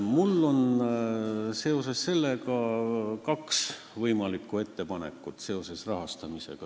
Mul on seoses rahastamisega kaks ettepanekut.